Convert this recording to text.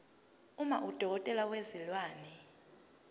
uma udokotela wezilwane